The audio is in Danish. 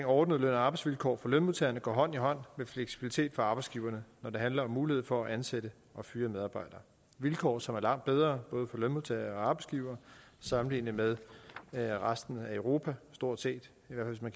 ordnede løn og arbejdsvilkår for lønmodtagerne går hånd i hånd med fleksibilitet for arbejdsgiverne når det handler om mulighed for at ansætte og fyre medarbejdere det vilkår som er langt bedre både for lønmodtagere og arbejdsgivere sammenlignet med med resten af europa stort set